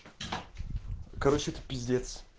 короче это пиздец